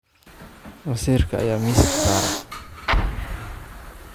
Maseerka ayaa miiska saaran.